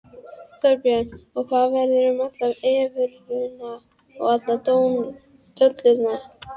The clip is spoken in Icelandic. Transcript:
Þorbjörn: Og hvað verður um allar evrurnar og alla dollarana?